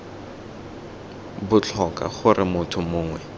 b tlhoka gore motho mongwe